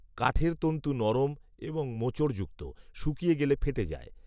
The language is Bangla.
কাঠের তন্তু নরম এবং মোচড়যুক্ত। শুকিয়ে গেলে ফেটে যায়